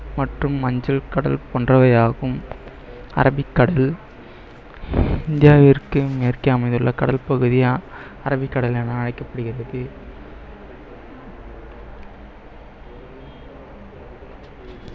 மற்றும் மஞ்சள் கடல் போன்றவை ஆகும் அரபிக்கடல் இந்தியாவிற்கு மேற்கே அமைந்துள்ள கடல் பகுதியா அரபிக்கடல் என அழைக்கப்படுகிறது